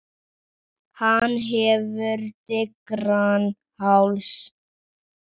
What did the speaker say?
Hann hefur digran háls.